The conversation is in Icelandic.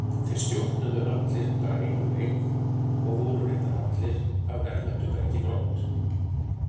Þeir stjórnuðu allir bara einum leik og voru reyndar allir af erlendu bergi brotnir.